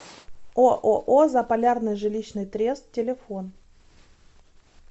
ооо заполярный жилищный трест телефон